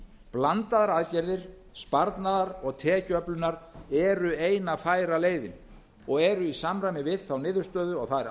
blandaðar aðgerðir sparnaðar og tekjuöflunar eru eina færa leiðin og eru í samræmi við þá niðurstöðu og þær